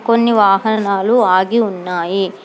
కొన్ని వాహనాలు ఆగి ఉన్నాయి.